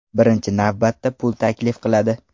Birinchi navbatda pul taklif qiladi.